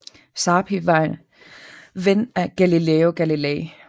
Sarpi var ven af Galileo Galilei